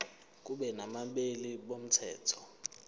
kube nabameli bomthetho